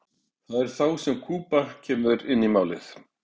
það er þá sem kúba kemur inn í málið